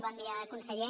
bon dia conseller